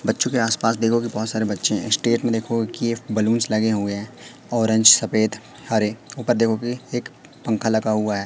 बच्चों के आस पास देखोगे बहुत सारे बच्चे हैं स्टेट में देखो कि ये बलून्स लगे हुए हैं ऑरेंज सफेद हरे ऊपर देखोगे एक पंखा लगा हुआ है।